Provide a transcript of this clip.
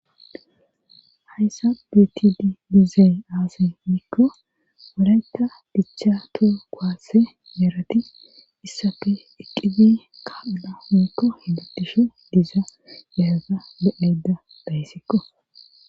Hayssa bitidi diizay aase miikko walayka dichcha too goaasse meerati issafe eqqibe kaaphuna mikko higatishe diza yaaza bodeda dayssikko